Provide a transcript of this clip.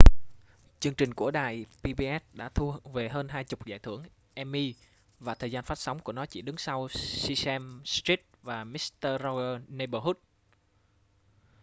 chương trình của đài pbs đã thu về hơn hai chục giải thưởng emmy và thời gian phát sóng của nó chỉ đứng sau sesame street và mister rogers' neighborhood